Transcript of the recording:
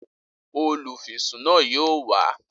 Olúfisún náà yóò wá